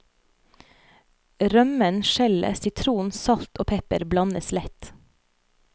Rømmen, skjellet, sitron, salt og pepper blandes lett.